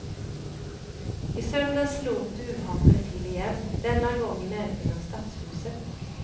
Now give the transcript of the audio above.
I söndags slog duvhataren till igen, denna gång i närheten av stadshuset.